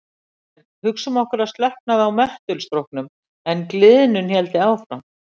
En hugsum okkur að slökknaði á möttulstróknum en gliðnun héldi áfram.